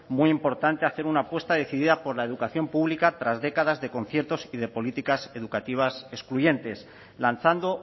muy importante hacer una apuesta decidida por la educación pública tras décadas de conciertos y de políticas educativas excluyentes lanzando